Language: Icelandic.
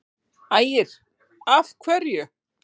Ægir: Af hverju?